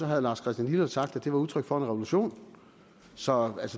herre lars christian lilleholt sagt at det var udtryk for en revolution så